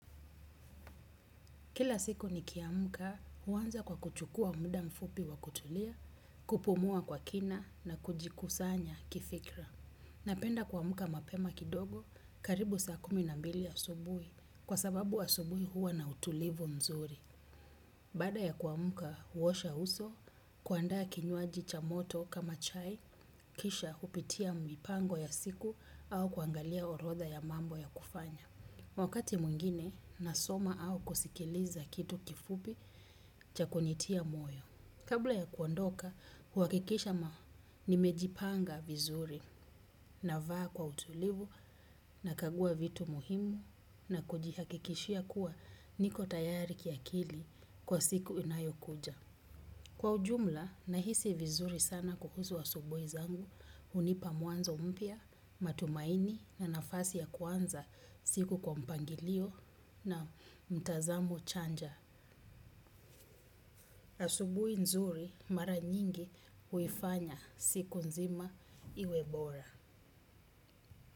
Kila siku ni kiamuka huanza kwa kuchukua muda mfupi wa kutulia, kupumua kwa kina na kujikusanya kifikra. Napenda kwa muka mapema kidogo karibu saa kuminambili asubui kwa sababu asubui huwa na utulivu mzuri. Baada ya kuamka huosha uso na kuanda kinywaji cha moto kama chai kisha hupitia mipango ya siku au kuangalia orodha ya mambo ya kufanya. Wakati mungine, nasoma au kusikiliza kitu kifubi cha kunitia moyo. Kabla ya kuondoka, huakikisha nimejipanga vizuri na vaa kwa utulivu na kagua vitu muhimu na kujihakikishia kuwa niko tayari kia kili kwa siku inayo kuja. Kwa ujumla na hisi vizuri sana kuhuzu asubui zangu, unipa muanzo mpia, matumaini na nafasi ya kwanza siku kwa mpangilio na mtazamo chanja. Asubui nzuri mara nyingi huifanya siku nzima iwebora.